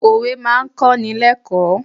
Òwe máa kọ́ni lẹ́kọ̀ọ̀.